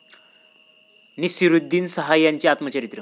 नसीरुद्दीन शाह यांचं आत्मचरित्र